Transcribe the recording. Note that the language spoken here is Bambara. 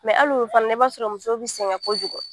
Mɛ hali olu fana na i b'a sɔrɔ muso bi sɛgɛn kojugu